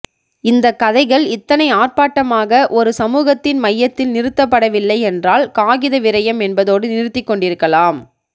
இந்தக்கதைகள் இத்தனை ஆர்ப்பாட்டமாக ஒரு சமூகத்தின் மையத்தில் நிறுத்தப்படவில்லை என்றால் காகிதவிரயம் என்பதோடு நிறுத்திக்கொண்டிருக்கலாம்